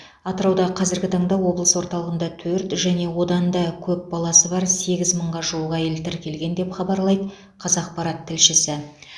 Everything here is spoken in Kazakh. атырауда қазіргі таңда облыс орталығында төрт және одан да көп баласы бар сегіз мыңға жуық әйел тіркелген деп хабарлайды қазақпарат тілшісі